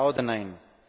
Ja oder Nein?